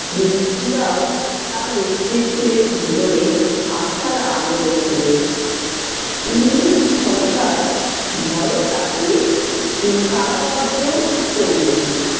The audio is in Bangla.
তার নেতৃত্বে ভেতরে আশার আলো দেখলেন। ইংরেজ সরকার ভয়ে তাকে উম কারা রন্ধ্র করলেন।